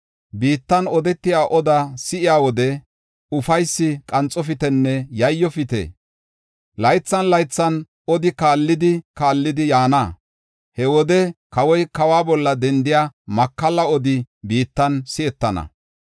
Biittan odetiya odaa si7iya wode ufaysi qanxofitenne yayyofite. Laythan laythan odi kaallidi kaallidi yaana. He wode kawoy kawa bolla dendiya makalla odi biittan si7etana.”